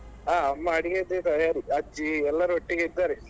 ಹ ಅಮ್ಮಾ ಅಡಿಗೆಯದ್ದೇ ತಯಾರಿ ಅಜ್ಜಿ ಎಲ್ಲರೂ ಒಟ್ಟಿಗೆ ಇದ್ದಾರೆ.